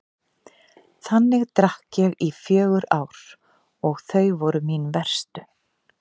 Þannig drakk ég í fjögur ár og þau voru mín verstu.